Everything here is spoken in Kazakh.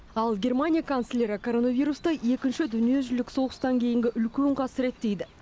ал германия канцлері коронавирусты екінші дүниежүзілік соғыстан кейінгі үлкен қасірет дейді